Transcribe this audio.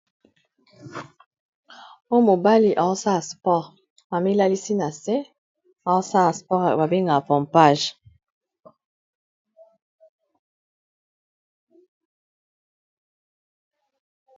Oya mobali aosa ya sport bamilalisi na se aosa ya sport babenga pompage